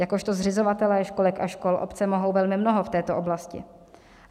Jakožto zřizovatelé školek a škol obce mohou velmi mnoho v této oblasti.